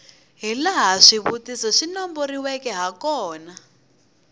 hilaha swivutiso swi nomboriweke hakona